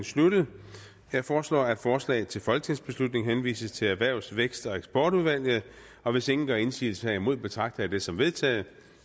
sluttet jeg foreslår at forslaget til folketingsbeslutning henvises til erhvervs vækst og eksportudvalget og hvis ingen gør indsigelse herimod betragter jeg det som vedtaget